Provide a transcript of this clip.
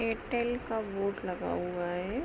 Airtel का board लगा हुआ हैं।